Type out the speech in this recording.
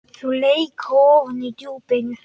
Þau leka ofan í djúpin.